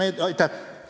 Aitäh!